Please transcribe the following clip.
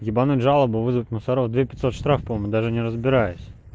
ебануть жалобу вызвать мусоров две пятьсот рублей штраф по-моему даже не разбираясь